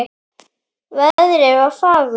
Veðrið var fagurt.